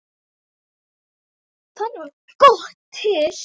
Þannig varð GOTT til.